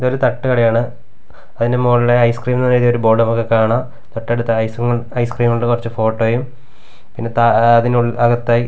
ഇതൊരു തട്ടുകടയാണ് അതിന്റെ മുകളിൽ ഐസ്ക്രീം എന്ന് എഴുതി ബോർഡ് നമുക്ക് കാണാം തൊട്ടടുത്ത് ഐസ് ഐസ്ക്രീം കൊണ്ടു കുറച്ചു ഫോട്ടോയും പിന്നെ അതിനു അതിനകത്തായി--